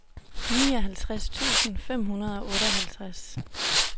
nioghalvtreds tusind fem hundrede og otteoghalvtreds